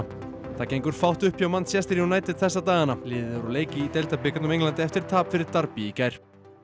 það gengur fátt upp hjá Manchester United þessa dagana liðið er úr leik í deildabikarnum á Englandi eftir tap fyrir í gær